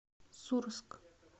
сурск